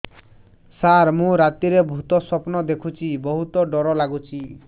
ସାର ମୁ ରାତିରେ ଭୁତ ସ୍ୱପ୍ନ ଦେଖୁଚି ବହୁତ ଡର ଲାଗୁଚି